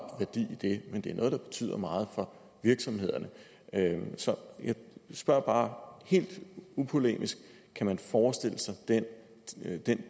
værdi i det men det er noget der betyder meget for virksomhederne så jeg spørger bare helt upolemisk kan man forestille sig den